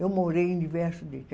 Eu morei em diversos.